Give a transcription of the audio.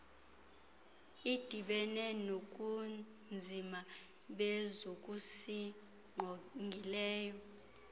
idibene nobunzima bezokusingqongileyo